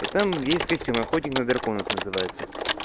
и там есть костюм охотник на драконов называется